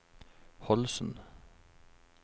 Holsen